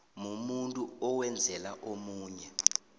umuntu owenzela omunye